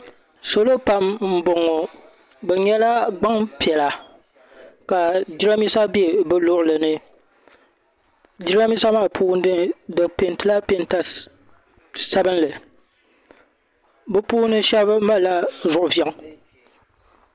Salo pam mboŋɔ bɛ nyɛla gbaŋpiɛla ka jirambisa be bi luɣuli ni jirambisa maa puuni di pentila penta sabinli bɛ puuni shɛba malila zuɣuviaŋ.